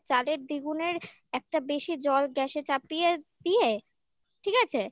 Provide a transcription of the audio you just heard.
ডেজকি তে চালের দ্বিগুণের একটা বেশি জল gas চাপিয়ে দিয়ে ঠিক আছে